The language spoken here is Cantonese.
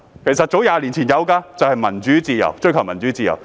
其實，早在20年前已有"民主自由"的口號，追求自由。